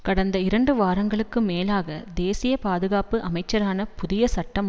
கடந்த இரண்டு வாரங்களுக்கு மேலாக தேசிய பாதுகாப்பு அமைச்சரான புதிய சட்டம்